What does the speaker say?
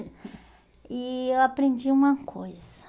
E eu aprendi uma coisa.